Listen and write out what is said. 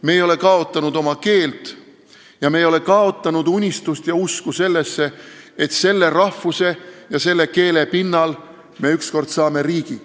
Me ei ole kaotanud oma keelt ning me ei ole kaotanud unistust ja usku sellesse, et selle rahvuse ja keele pinnal me ükskord saame riigi.